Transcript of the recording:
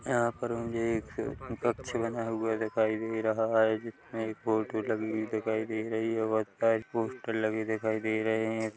यहाँ पर मुझे एक कक्ष बना हुआ दिखाई दे रहा हैं जिसमे एक फोटो लगी हुई दिखाई दे रही हैं और कई पोस्टर लगे दिखाई दे रहे हैं कु--